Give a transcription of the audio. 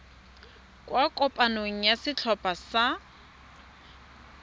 kwa kopanong ya setlhopha sa